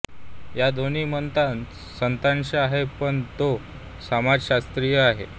या दोन्ही मतांत सत्यांश आहे पण तो समाजशास्त्रीय आहे